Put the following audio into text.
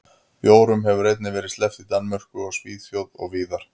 Bjórum hefur einnig verið sleppt í Danmörku og Svíþjóð og víðar.